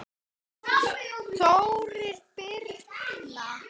Þórir og Birna.